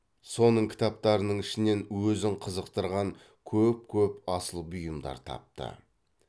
соның кітаптарының ішінен өзін қызықтырған көп көп асыл бұйымдар тапты